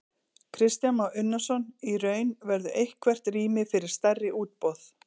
Kristján Már Unnarsson: Í raun, verður eitthvert rými fyrir stærri útboð?